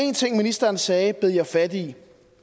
en ting ministeren sagde bed jeg fat i